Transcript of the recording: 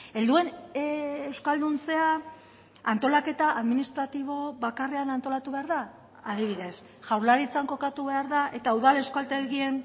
helduen euskalduntzea antolaketa administratibo bakarrean antolatu behar da adibidez jaurlaritzan kokatu behar da eta udal euskaltegien